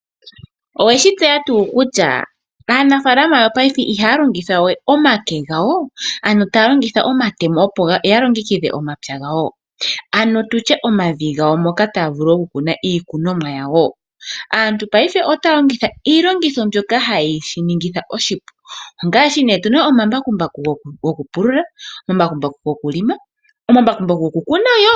Oweshi tseya tuu kutya aanafaalama yopaife ihaya longitha we omake gawo, ano taya longitha omatemo opo ya longekidhe omapya gawo, ano tutye omavi gawo moka taya vulu oku kuna iikunomwa yawo, aantu paife otaya longitha iilongitho mbyoka haye shi ningitha oshipu ngaashi nee otuna omambakumbaku goku pulula, omambakumbaku gokulima, omambakumbaku goku kuna yo.